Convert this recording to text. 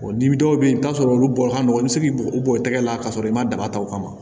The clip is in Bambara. dɔw bɛ yen i bɛ t'a sɔrɔ olu bɔ ka nɔgɔn i bɛ se k'i u b'o tɛgɛ la k'a sɔrɔ i ma daba ta o kama